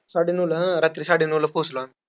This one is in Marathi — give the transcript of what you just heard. साडेनऊला हां रात्री साडेनऊला पोहोचलो आम्ही.